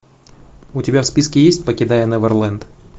у тебя в списке есть покидая неверленд